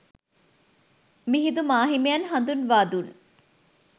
මිහිඳු මාහිමියන් හඳුන්වා දුන්